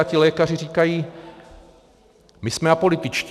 A ti lékaři říkají, my jsme apolitičtí.